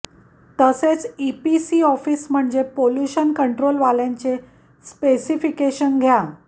तसेच E P C office म्हणजे pollution control वाल्यांचे स्पेसिफिकेशन घ्या